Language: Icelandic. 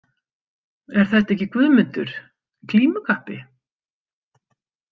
Er þetta ekki Guðmundur glímukappi?